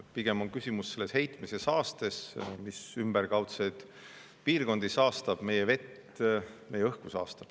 Pigem on küsimus selles heitmes, mis ümberkaudseid piirkondi saastab, meie vett, meie õhku saastab.